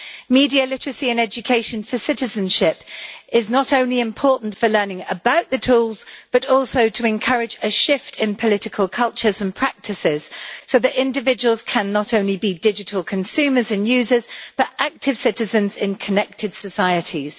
Media literacy and education for citizenship is not only important for learning about the tools, but also to encourage a shift in political cultures and practices so that individuals can be not only digital consumers and users but active citizens in connected societies.